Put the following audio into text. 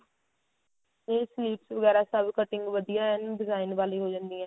ਇਹ sleeves ਵਗੈਰਾ ਸਭ cutting ਵਧੀਆ ਐਂ design ਵਾਲੀ ਹੋ ਜਾਂਦੀ ਏ